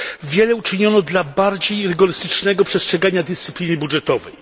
Wiele uczyniono dla bardziej rygorystycznego przestrzegania dyscypliny budżetowej.